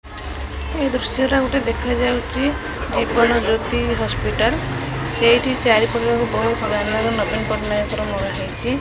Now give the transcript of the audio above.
ଏ ଦୃଶ୍ଯଟା ଗୋଟେ ଦେଖାଯାଉଛି ଜୀବନ ଜ୍ୟୋତି ହସ୍ପିଟାଲ ସେଇଟି ଚାରିପାଖ ଜାକ ବହୁତ ବ୍ୟାନର ନବୀନ ପଟ୍ଟନାୟକର ମରାହେଇଚି।